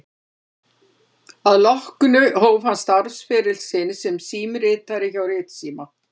Að því loknu hóf hann starfsferil sinn sem símritari hjá Ritsíma